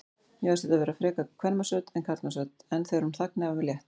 Mér fannst þetta frekar vera kvenmannsrödd en karlmannsrödd, en þegar hún þagnaði var mér létt.